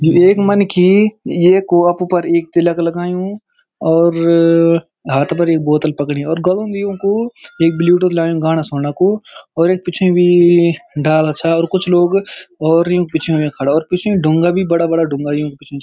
यु एक मनखी येकू अफु फर एक तिलक लगयूं और हाथ पर एक बोतल पकड़ी और गलुम युन्कू एक ब्लूटूथ लायुं गाणा सुणु कु और एक पीछे भी डाला छा और कुछ लोग और युंक पिछे हुयां खड़ा और पिछे ढुंगा भी बड़ा-बड़ा ढुंगा युंक पिछने।